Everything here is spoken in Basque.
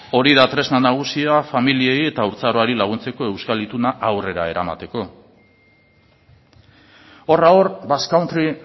hori da tresna nagusia familiei eta haurtzaroari laguntzeko euskal ituna aurrera eramateko horra hor basque country